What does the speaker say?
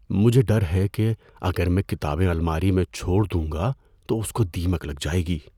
مجھے ڈر ہے کہ اگر میں کتابیں الماری میں چھوڑ دوں گا تو اس کو دیمک لگ جائے گی۔